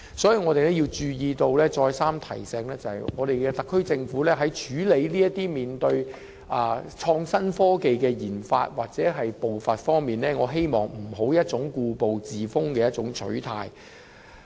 所以，我們再三提醒特區政府在處理創新科技的研發或步伐方面，不要抱持故步自封的取態。